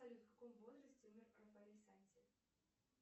салют в каком возрасте умер рафаэль санти